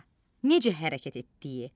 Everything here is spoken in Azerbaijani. A. necə hərəkət etdiyi?